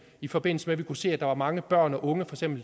i forbindelse med vi kunne se at der var mange børn og unge